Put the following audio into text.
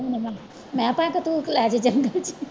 ਮੈਂ ਤਾਂ ਅਖੇ ਤੂੰ